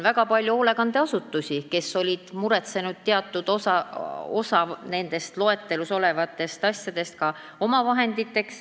Väga paljud hoolekandeasutused olid muretsenud teatud osa nendest loetelus olevatest asjadest ka endale omavahenditeks.